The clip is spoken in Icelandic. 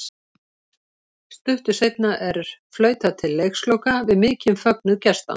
Stuttu seinna er flautað til leiksloka við mikinn fögnuð gestanna.